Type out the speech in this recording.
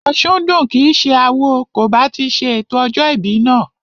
Òsúndùn kìí ṣe awo kò bá ti ṣe ètò ọjọ́ ìbí náà